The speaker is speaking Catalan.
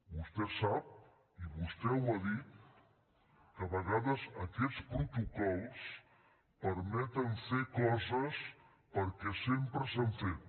vostè sap i vostè ho ha dit que a vegades aquests protocols permeten fer coses perquè sempre s’han fet